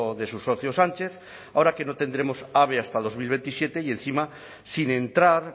de su socio sánchez ahora que no tendremos ave hasta dos mil veintisiete y encima sin entrar